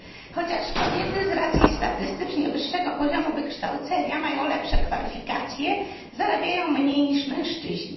Chociaż kobiety z racji statystycznie wyższego poziomu wykształcenia mają lepsze kwalifikacje, zarabiają mniej niż mężczyźni.